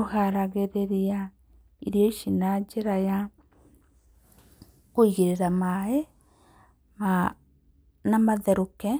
Ũharagĩrĩria irio ici na njĩra ya kũigĩrĩra maaĩ, na matherũke,